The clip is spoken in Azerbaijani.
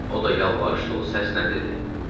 O da yalvarış dolu səslə dedi: